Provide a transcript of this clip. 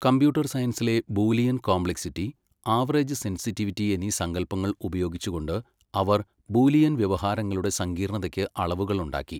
Computer സയൻസിലെ Boolean complexity, average sensitivity എന്നീ സങ്കൽപ്പങ്ങൾ ഉപയോഗിച്ചുകൊണ്ട് അവർ ബൂലിയൻവ്യവഹാരങ്ങളുടെ സങ്കീർണതയ്ക്ക് അളവുകളുണ്ടാക്കി.